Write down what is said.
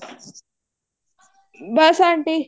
ਬੱਸ aunty